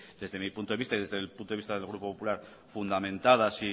desde mi punto de vista y desde el punto de vista del grupo popular fundamentadas